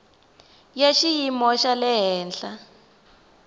ya xiyimo xa le henhla